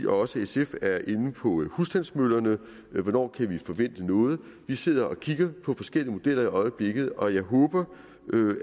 også sf er inde på husstandsmøllerne hvornår kan vi forvente noget vi sidder og kigger på forskellige modeller i øjeblikket og jeg håber